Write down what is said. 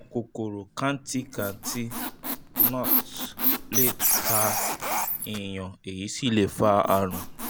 àwọn kòkòrò kantikanti (gnats) lè ta èèyàn èyí sì lè fa àrùn